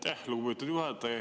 Aitäh, lugupeetud juhataja!